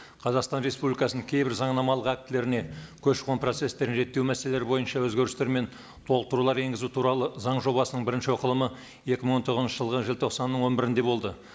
қазақстан республикасының кейбір заңнамалық актілеріне көші қон процесстерін реттеу мәселелері бойынша өзгерістер мен толықтырулар енгізу туралы заң жобасының бірінші оқылымы екі мың он тоғызыншы жылғы желтоқсанның он бірінде болды